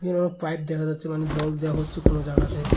Pipe দেখা যাচ্ছে মানে জল দেওয়া হচ্ছে কোন জায়গাতে।